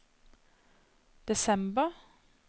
desember